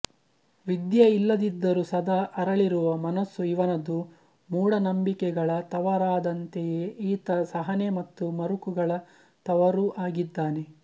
ವಿದ್ಯೆ ಇಲ್ಲದಿದ್ದರೂ ಸದಾ ಅರಳಿರುವ ಮನಸ್ಸು ಇವನದು ಮೂಢನಂಬಿಕೆಗಳ ತವರಾದಂತೆಯೆ ಈತ ಸಹನೆ ಮತ್ತು ಮರುಕಗಳ ತವರೂ ಆಗಿದ್ದಾನೆ